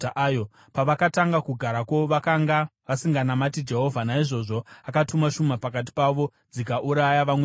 Pavakatanga kugarako, vakanga vasinganamati Jehovha; naizvozvo akatuma shumba pakati pavo dzikauraya vamwe vavo.